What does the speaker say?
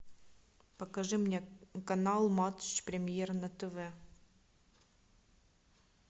покажи мне канал матч премьер на тв